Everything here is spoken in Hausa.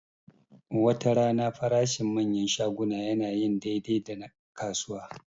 Watarana farashin manyan shaguna yana yin daidai da na kasuwa